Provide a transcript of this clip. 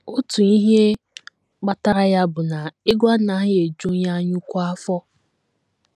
Otu ihe kpatara ya bụ na ego anaghị eju onye anyaukwu afọ.